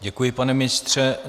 Děkuji, pane ministře.